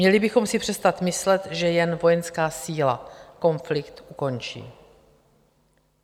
Měli bychom si přestat myslet, že jen vojenská síla konflikt ukončí.